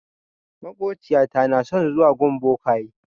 Maƙociyata na son zuwa gun bokaye.